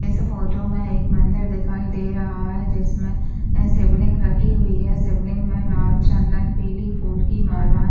इस फोटो में एक मंदिर दिखाई दे रहा है जिसमें शिवलिंग रखी हुई है शिवलिंग में लाल चंदन पीले फूलों की माला है।